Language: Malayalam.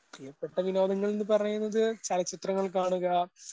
പ്രിയപ്പെട്ട വിനോദങ്ങൾന്ന് പറയുന്നത് ചലച്ചിത്രങ്ങൾ കാണുക,